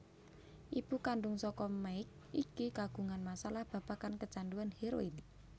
Ibu kandhung saka Mike iki kagungan masalah babagan kecanduan hèroin